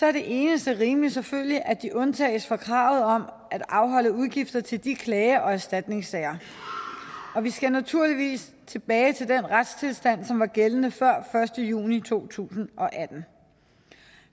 er det eneste rimelige selvfølgelig at de undtages fra kravet om at afholde udgifter til de klage og erstatningssager vi skal naturligvis tilbage til den retstilstand som var gældende før første juni to tusind og atten